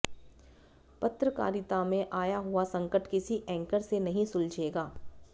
पत्रकारिता में आया हुआ संकट किसी एंकर से नहीं सुलझेगा